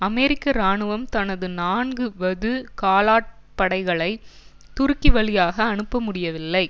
அமெரிக்க இராணுவம் தனது நான்கு வது காலாட் படைகளை துருக்கி வழியாக அனுப்ப முடியவில்லை